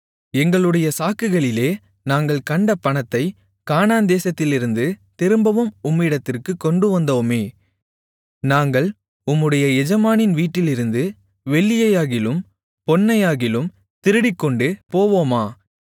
எங்களுடைய சாக்குகளிலே நாங்கள் கண்ட பணத்தைக் கானான்தேசத்திலிருந்து திரும்பவும் உம்மிடத்திற்குக் கொண்டுவந்தோமே நாங்கள் உம்முடைய எஜமானின் வீட்டிலிருந்து வெள்ளியையாகிலும் பொன்னையாகிலும் திருடிக்கொண்டு போவோமா